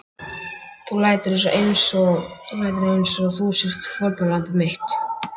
Þú lætur einsog þú sért fórnarlamb mitt.